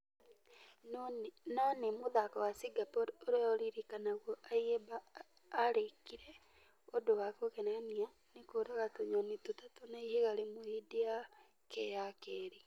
Nũ nĩ mũthako wa singapore ũrĩa ũririkanagwo ayimba arĩkire ũndũ wa kũgegania nĩ kũuraga tũnyoni tũtatũ na ihiga rĩmwe hĩndi ya .....yake ya kerĩ.